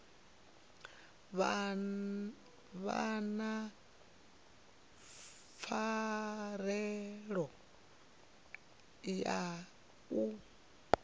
vha na pfanelo ya u